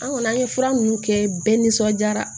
An kɔni an ye fura ninnu kɛ bɛɛ nisɔndiya